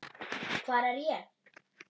HVAR ER ÉG?